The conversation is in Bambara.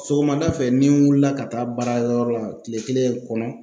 Sɔgɔmada fɛ ni n wulila ka taa baarayɔrɔ la tile kelen kɔnɔ